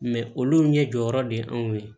olu ɲɛ jɔyɔrɔ de ye anw ye